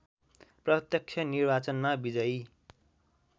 प्रत्यक्ष निर्वाचनमा विजयी